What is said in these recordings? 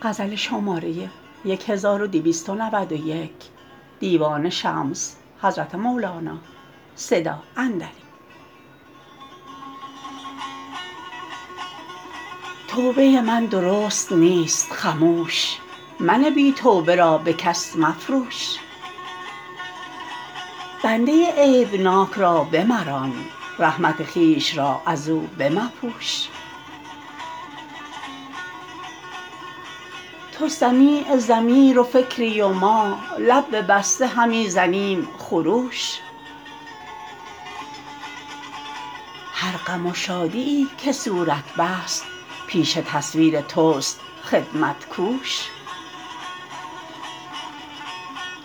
توبه من درست نیست خموش من بی توبه را به کس مفروش بنده عیب ناک را بمران رحمت خویش را از او بمپوش تو سمیع ضمیر و فکری و ما لب ببسته همی زنیم خروش هر غم و شادی یی که صورت بست پیش تصویر توست خدمت کوش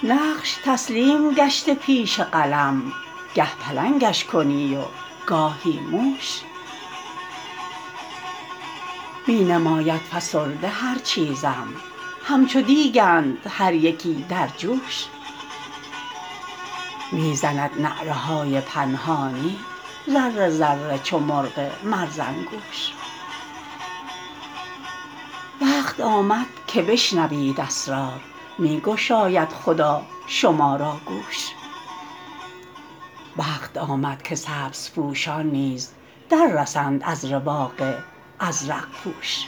نقش تسلیم گشته پیش قلم گه پلنگش کنی و گاهی موش می نماید فسرده هر چیزم همچو دیگ ند هر یکی در جوش می زند نعره های پنهانی ذره ذره چو مرغ مرزنگوش وقت آمد که بشنوید اسرار می گشاید خدا شما را گوش وقت آمد که سبزپوشان نیز در رسند از رواق ازرق پوش